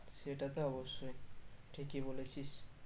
সেটা তো অব্যশই ঠিকই বলেছিস